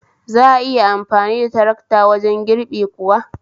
Za'a iya amfani da tarakta wajen girbi kuwa?